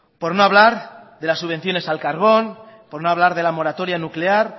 por no hablar de las subvenciones al carbón por no hablar de la moratoria nuclear